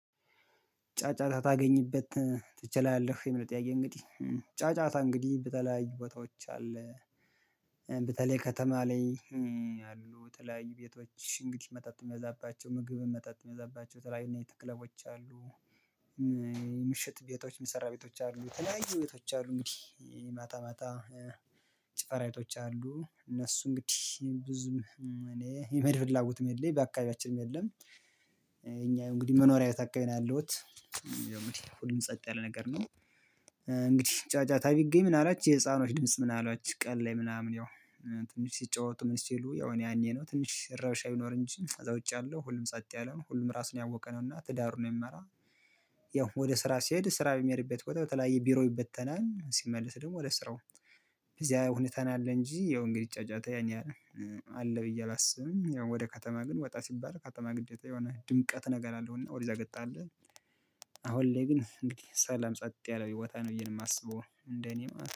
ጫጫታ ታገኝበት ትችላለህ የሚለው ጥያቄ እንግዲህ ጫጫታ እንግዲህ በተለያዩ ቦታዎች አለ በተለይ ከተማ ላይ አሉ የተለያዩ ቤቶች እንግዲህ መጠጥ የሚመዛባቸው ምግብም መጠጥ የሚበዛባቸው የ ተለያዩ ናይት ክለቦች አሉ። ምሽት ቤቶች የሚሰራ ቤቶች አሉ የተለያየዩ ቤቶች አሉ እንግዲህ ማታ ማታ ጭፈራ ቤቶች አሉ እነሱ እንግዲህ ብዙም እኔ የመሄድ ፍላጎትም የለም በአከባቢያችንም የለም። እኛ ያው እንግዲህ መኖሪያ ቤት አዻከባቢ ነው ያለሁት። ሁሉም ጸጥ ያለ ነገር ነው። እንግዲህ ጫጫታ ቢገኝ ምን አላችሁ የህፃኖች ድምጽ ምን አሏችሁ ቀን ላይ ምናምን ያው። ትንሽ ሲጫወቱ ምን ሲሉ ያው እኔ ያኔ ነው ትንሽ ረብሻ ቢኖር እንጂ እዛ ውጪ አለው ሁሉም ጸጥ ያለ ነው ሁሉም ራሱን ያወቀነው እና ትዳር ነው የሚመራ። ያው ወደ ስራ ስሄድ ስራ በሚሄድበት ቆጠር በተለያየ ቢሮ ይበተናል ሲመልስ ደግሞ ወደ ስራው። እዚያ ሁኔታ ነው ያለ እንጂ ያው እንግዲህ ጫጫታ ይሄን ያህል አለ ብዬ አላስብም ያው ወደ ከተማ ግን ወጣ ሲባል ከተማ ግዴታ የሆነ ድምቀት ነገር አለውና ወደዛ ገጣለህ። አሁን ላይ ግን እንግዲህ ሰላም ጸጥ ያለው ቦታ ነው ብዬ ነው የማስበው እንደኔ ማለት ነው